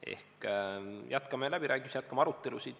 Ehk jätkame läbirääkimisi, jätkame arutelusid.